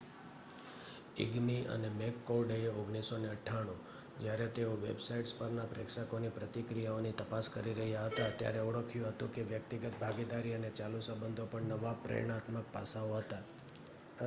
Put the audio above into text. "ઇગ્મી અને મેકકોર્ડએ 1998 જ્યારે તેઓ વેબસાઇટ્સ પરના પ્રેક્ષકોની પ્રતિક્રિયાઓની તપાસ કરી રહ્યા હતા ત્યારે ઓળખ્યું હતું કે "વ્યક્તિગત ભાગીદારી" અને "ચાલુ સંબંધો" પણ નવા પ્રેરણાત્મક પાસાઓ હતા.